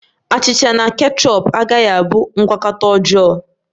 Achịcha na kechọp agaghi abụ ngwakọta ọjọọ